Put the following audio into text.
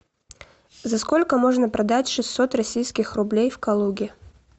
за сколько можно продать шестьсот российских рублей в калуге